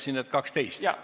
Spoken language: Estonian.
Mitte kell 12?